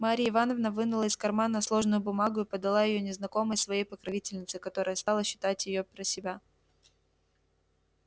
марья ивановна вынула из кармана сложенную бумагу и подала её незнакомой своей покровительнице которая стала читать её про себя